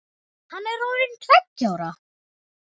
Hann er orðinn tveggja ára.